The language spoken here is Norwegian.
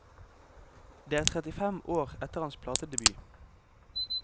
Det er trettifem år etter hans platedebut.